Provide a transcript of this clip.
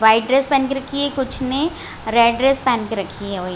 white dress पेहन के रखी है कुछ ने रेड ड्रेस पहने के रखी हुई--